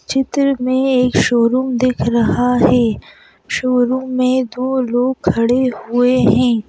चित्र में एक शोरूम दिख रहा है शोरूम में दो लोग खड़े हुए हैं।